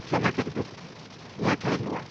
କ୍ଷମା କରିବେ, ମୁଁ ଏଠାରେ ନୂଆ